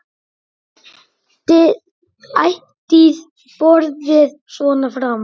Ætíð borið svona fram.